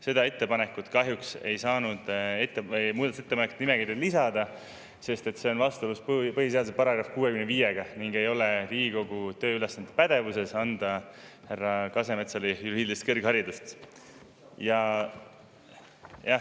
Seda ettepanekut kahjuks ei saanud muudatusettepanekute nimekirja lisada, sest see on vastuolus põhiseaduse §-ga 65 ning Riigikogu pädevuses ei ole anda härra Kasemetsale juriidilist kõrgharidust.